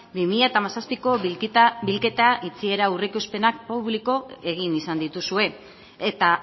bi mila hamazazpiko bilketa itxiera aurreikuspenak publiko egin izan dituzue eta